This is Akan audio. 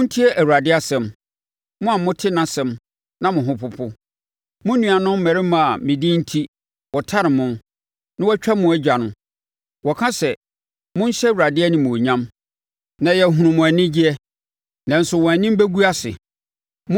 Montie Awurade asɛm, mo a mote nʼasɛm a mo ho popo: “Mo nuanom mmarimma a me din enti wɔtane mo na wɔatwa mo agya no, wɔka sɛ, ‘Monhyɛ Awurade animuonyam, na yɛahunu mo anigyeɛ!’ Nanso wɔn anim bɛgu ase.